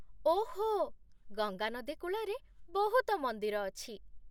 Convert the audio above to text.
ଓଃ, ଗଙ୍ଗା ନଦୀ କୂଳରେ ବହୁତ ମନ୍ଦିର ଅଛି।